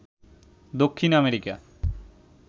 Dakshin America